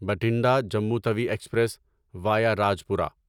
Bathinda Jammu Tawi express via Rajpura